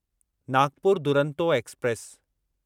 Nagpur Duronto express